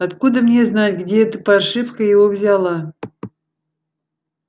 откуда мне знать где эта паршивка его взяла